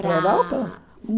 Para a Para a Europa?